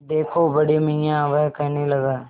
देखो बड़े मियाँ वह कहने लगा